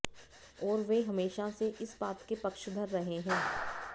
और वे हमेशा से इस बात के पक्षधर रहे हैं